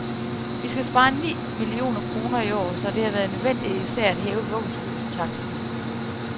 Vi skal spare ni millioner kroner i år, så det har været nødvendigt især at hæve vuggestuetaksten.